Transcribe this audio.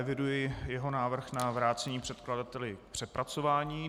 Eviduji jeho návrh na vrácení předkladateli k přepracování.